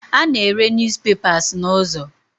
A na-ere News papers n'ụzọ.